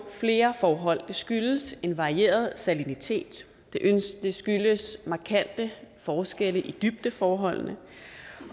flere forhold det skyldes en varieret salinitet det skyldes markante forskelle i dybdeforholdene